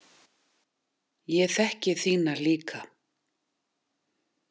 Ég þekki þína líka.